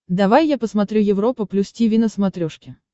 давай я посмотрю европа плюс тиви на смотрешке